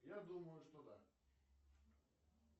я думаю что да